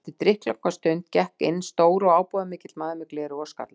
Eftir drykklanga stund gekk inn stór og ábúðarmikill maður með gleraugu og skalla.